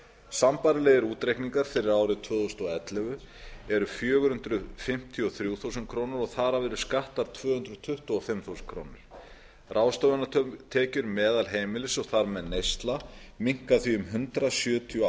sambærilegir útreikningar fyrir árið tvö þúsund og ellefu eru fjögur hundruð fimmtíu og þrjú þúsund krónur og þar af eru skattar tvö hundruð tuttugu og fimm þúsund krónur ráðstöfunartekjur meðalheimilis og þar með neysla minnka því um hundrað sjötíu og